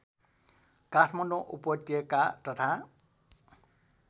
काठमाडौँ उपत्यका तथा